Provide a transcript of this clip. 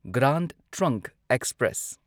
grand Trunk express